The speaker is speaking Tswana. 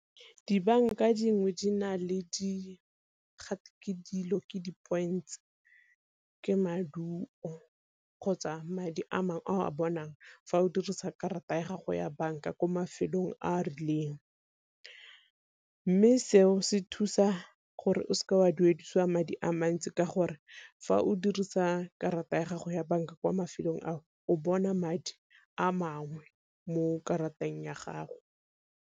Dibanka dingwe di na le gate dilo ke di points ke maduo kgotsa madi a mangwe a o a bonang fa o dirisa karata ya gago ya banka ko mafelong a a rileng. Mme seo se thusa gore o seke wa duedisiwa madi a mantsi ka gore fa o dirisa karata ya gago ya banka kwa mafelong a o bona madi a mangwe mo karateng ya gago.